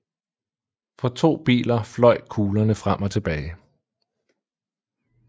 Fra to biler fløj kuglerne frem og tilbage